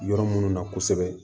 Yɔrɔ minnu na kosɛbɛ